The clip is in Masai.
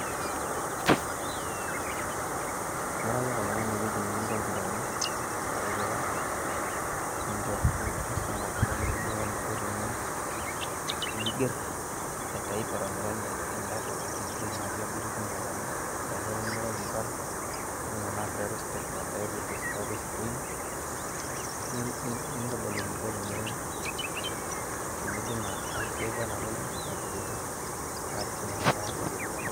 iya ake oltung'ani enetii ikomputani nisum oltung'ani eniko teniger, aironyirony enkiti toki na, natii tiabori naa ore ake pee irony nitau inkarn nintodol eniko teni save.